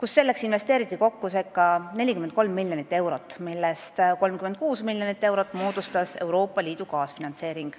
kui selleks investeeriti kokku circa 43 miljonit eurot, millest 36 miljonit eurot moodustas Euroopa Liidu kaasfinantseering.